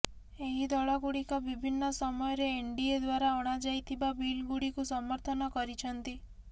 ଏହି ଦଳ ଗୁଡିକ ବିଭିନ୍ନ ସମୟରେ ଏନଡିଏ ଦ୍ବାରା ଅଣାଯାଇଥିବା ବିଲ ଗୁଡିକୁ ସମର୍ଥନ କରିଛନ୍ତି